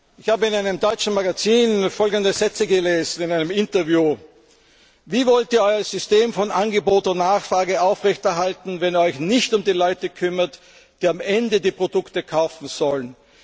Ich habe in einem deutschen Magazin folgende Sätze in einem Interview gelesen Wie wollt ihr euer System von Angebot und Nachfrage aufrechterhalten, wenn ihr euch nicht um die Leute kümmert, die am Ende die Produkte kaufen sollen?